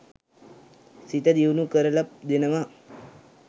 සිත දියුණු කරල දෙනවා.